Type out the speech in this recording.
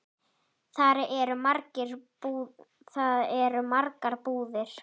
Þar eru margar búðir.